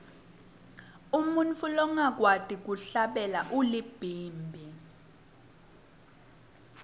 umuntfu longakwati kuhlabela ulibhimbi